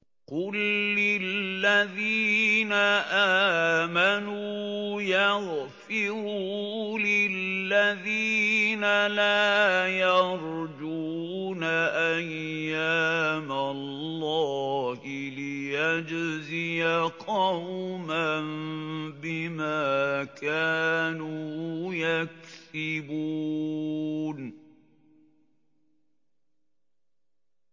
قُل لِّلَّذِينَ آمَنُوا يَغْفِرُوا لِلَّذِينَ لَا يَرْجُونَ أَيَّامَ اللَّهِ لِيَجْزِيَ قَوْمًا بِمَا كَانُوا يَكْسِبُونَ